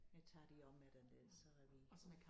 Der tager de også med derned så er vi